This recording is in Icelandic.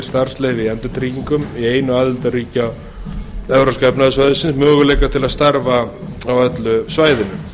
starfsleyfi í endurtryggingum í einu aðildarríkja evrópska efnahagssvæðisins möguleika til að starfa á öllu svæðinu